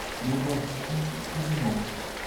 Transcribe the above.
Meborchi chi buching'ung'.